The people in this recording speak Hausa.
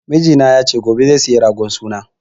Mijina ya ce gobe zai siyo ragon sunan